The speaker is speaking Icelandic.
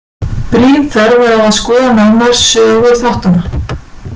Brýn þörf er á að skoða nánar sögu þáttanna.